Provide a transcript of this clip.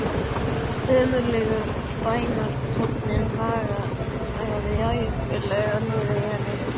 Ömurlegur bænartónninn þaggaði ævinlega niður í henni.